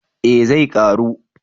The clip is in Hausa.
Eh zai karu